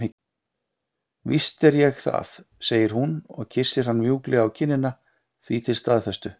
Víst er ég það, segir hún og kyssir hann mjúklega á kinnina því til staðfestu.